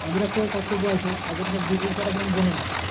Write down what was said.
তাদেরও একটা কর্তব্য আছে তাই জন্য সব details ওরা কিন্তু জেনে নেয়।